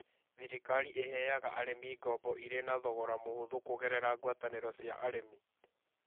Thirikari ĩheaga arĩmi ngombo irĩ na thogora mũhũthũ kũgerera ngwatanĩro cia arĩmi.